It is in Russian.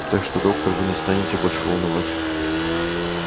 так что доктор вы не станете больше волновать